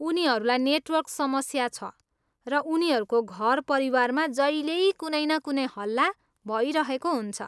उनीहरूलाई नेटवर्क समस्या छ, र उनीहरूको घर परिवारमा जहिल्यै कुनै न कुनै हल्ला भइरहेको हुन्छ।